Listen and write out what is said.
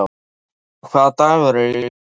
Jason, hvaða dagur er í dag?